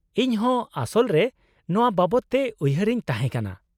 -ᱤᱧ ᱦᱚᱸ ᱟᱥᱚᱞ ᱨᱮ ᱱᱚᱶᱟ ᱵᱟᱵᱚᱫ ᱛᱮ ᱩᱭᱦᱟᱹᱨᱮᱧ ᱛᱟᱦᱮᱸ ᱠᱟᱱᱟ ᱾